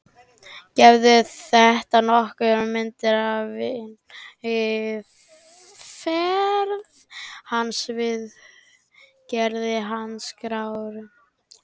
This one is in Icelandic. Gefur þetta nokkra mynd af vinnuaðferð hans við gerð handritaskrárinnar.